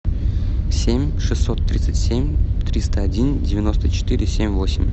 семь шестьсот тридцать семь триста один девяносто четыре семь восемь